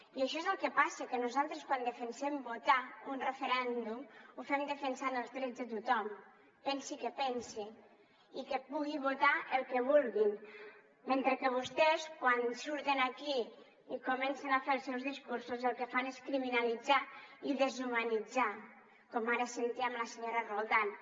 i això és el que passa que nosaltres quan defensem votar un referèndum ho fem defensant els drets de tothom pensin el que pensin i que puguin votar el que vulguin mentre que vostès quan surten aquí i comencen a fer els seus discursos el que fan és criminalitzar i deshumanitzar com ara sentíem la senyora roldán